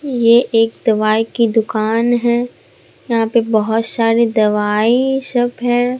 ये एक दवाई की दुकान है यहां पे बहोत सारी दवाई शब है।